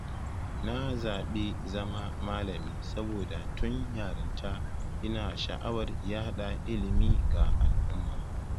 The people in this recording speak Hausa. Na zabi zama malami saboda tun yarinta ina sha’awar yaɗa ilimi ga al’umma.